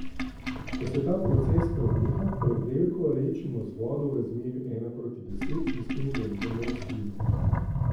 Ko se ta proces preneha, prevrelko redčimo z vodo v razmerju ena proti deset in s tem zalivamo rastline.